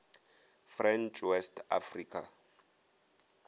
french west africa